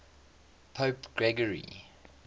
pope gregory